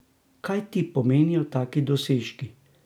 Kaj ti pomenijo taki dosežki?